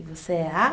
E você é a?